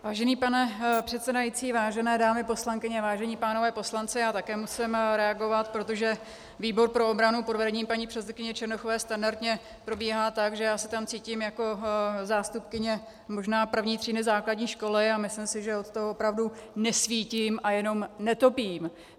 Vážený pane předsedající, vážené dámy poslankyně, vážení pánové poslanci, já také musím reagovat, protože výbor pro obranu pod vedením paní předsedkyně Černochové standardně probíhá tak, že já se tam cítím jako zástupkyně možná první třídy základní školy, a myslím si, že od toho opravdu nesvítím a jenom netopím.